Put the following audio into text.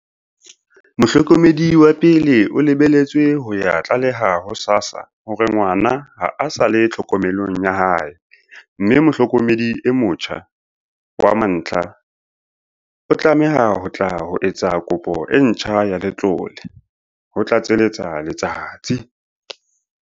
"Mohlokomedi wa pele o lebeletswe ho ya tlaleha ho SASSA hore ngwana ha a sa le tlhokomelong ya hae, mme mohlokomedi e motjha wa mantlha o tlameha ho tla ho etsa kopo e ntjha ya letlole," ho tlatseletsa Letsatsi.